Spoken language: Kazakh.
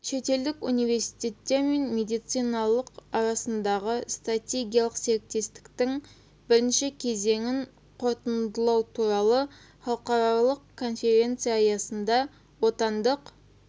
шетелдік университеттер мен медициналық арасындағы стратегиялық серіктестіктің бірінші кезеңін қорытындылау туралы халықаралық конференция аясында отандық